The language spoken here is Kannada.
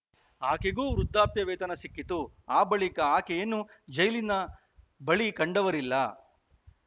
ಆಕೆಗೂ ವೃದ್ದಾಪ್ಯ ವೇತನ ಸಿಕ್ಕಿತು ಆ ಬಳಿಕ ಆಕೆಯನ್ನುಜೈಲಿನ ಬಳಿ ಕಂಡವರಿಲ್ಲ